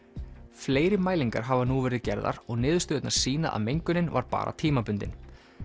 fleiri mælingar hafa nú verið gerðar og niðurstöðurnar sýna að mengunin var bara tímabundin